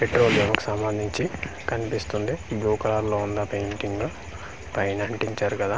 Petrol ఏవో సంబందించి కనిపిస్తుంది బ్లూ కలర్ లో ఉంది ఆ పెయింటింగ్ పైన అంటిచ్చారు కదా.